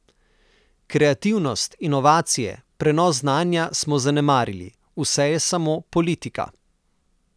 Kreativnost, inovacije, prenos znanja smo zanemarili, vse je samo politika.